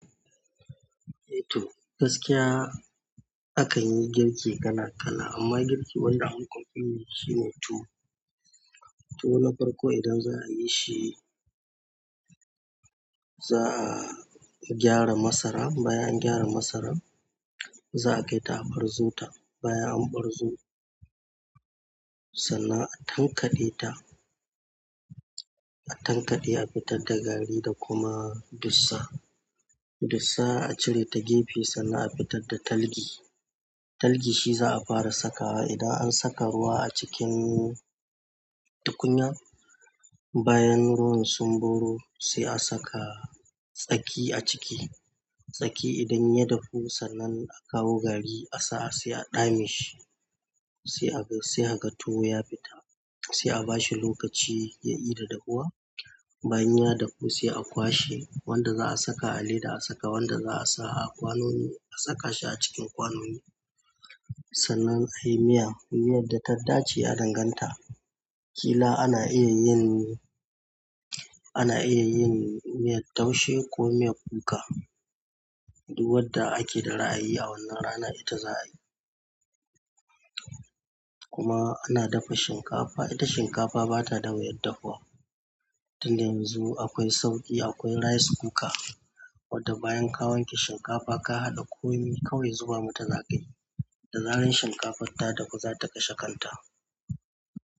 Eh to gaskiya a kan yi girki kala kala amma girki wanda ankafi yi shine tuwo tuwo na farko idan za'a yi shi. Za a gyara masara, bayan an gyara masaran za a kai ta a barzo ta, bayan an barzo sannan a tankaɗe ta. A tankaɗe a fitar da gari da kuma dussa. Dussa a cire ta gefe sannan a fitar da talgi. Talgi shi za a fara saka wa, idan an saka ruwa a cikin tukunya bayan ruwan sun boro sai a saka tsaki a ciki. Tsaki idan ya dafu sannan a kawo gari a sa sai a ɗame shi, sai aga sai aga tuwo ya fita sai a bashi lokaci ya i da dahuwa. Bayan ya dafu sai a kwashe wanda za a saka a leda a saka, wanda za a sa a kwanoni a saka shi a cikin kwanoni sannan a yi miya. Miyar da ta dace ya danganta. Ƙila ana iya yin, ana iya yin miyar taushe ko miyar kuka duk wadda ake da ra'ayi a wannan ranar ita za a yi. Kuma ana dafa shinkafa. Ita shinkafa bata da wuyar dafawa. Tun da yanzu akwai sauƙi, akwai rice cooker wadda bayan ka wanke shinkafa ka haɗa komi kawai zuba mata za ka yi. Da zaran shinkafar da duhu za ta kashe kanta.